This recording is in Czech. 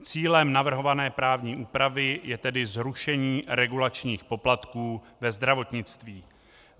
Cílem navrhované právní úpravy je tedy zrušení regulačních poplatků ve zdravotnictví.